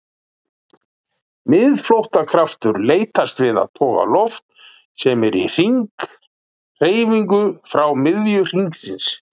Miðflóttakraftur leitast við að toga loft sem er í hringhreyfingu frá miðju hringsins.